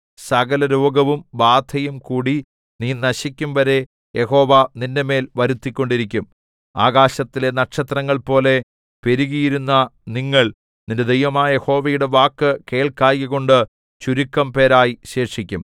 സകലരോഗവും ബാധയുംകൂടി നീ നശിക്കുംവരെ യഹോവ നിന്റെമേൽ വരുത്തിക്കൊണ്ടിരിക്കും ആകാശത്തിലെ നക്ഷത്രങ്ങൾ പോലെ പെരുകിയിരുന്ന നിങ്ങൾ നിന്റെ ദൈവമായ യഹോവയുടെ വാക്കു കേൾക്കായ്കകൊണ്ട് ചുരുക്കംപേരായി ശേഷിക്കും